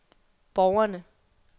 borgerne